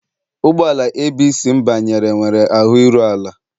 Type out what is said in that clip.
Ụgbọ ala ABC m banyere nwere ahụ iru ala.